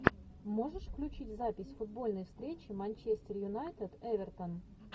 можешь включить запись футбольной встречи манчестер юнайтед эвертон